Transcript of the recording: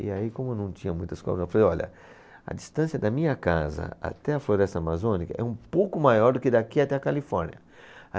E aí, como não tinha muitas cobras, eu falei, olha, a distância da minha casa até a Floresta Amazônica é um pouco maior do que daqui até a Califórnia.